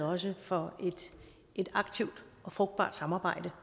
også for et aktivt og frugtbart samarbejde